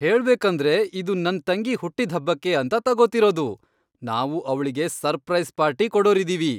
ಹೇಳ್ಬೇಕಂದ್ರೆ ಇದು ನನ್ತಂಗಿ ಹುಟ್ಟಿದ್ಹಬ್ಬಕ್ಕೆ ಅಂತ ತಗೋತಿರೋದು. ನಾವು ಅವ್ಳಿಗೆ ಸರ್ಪ್ರೈಸ್ ಪಾರ್ಟಿ ಕೊಡೋರಿದೀವಿ.